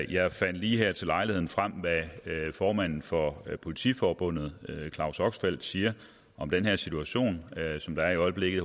jeg fandt lige her til lejligheden frem hvad formanden for politiforbundet claus oxfeldt siger om den her situation som der i øjeblikket